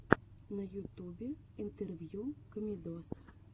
на ютубе интервью комедоз